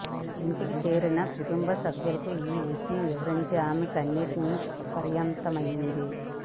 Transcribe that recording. ఇంటికి చేరిన కుటుంబసభ్యులకు ఈ విషయం వివరించి ఆమె కన్నీటి పర్యంతమైంది